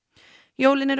jólin eru